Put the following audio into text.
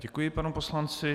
Děkuji panu poslanci.